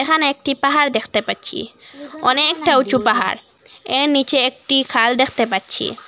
এখানে একটি পাহাড় দেখতে পাচ্ছি অনেকটা উঁচু পাহাড় এর নিচে একটি খাল দেখতে পাচ্ছি।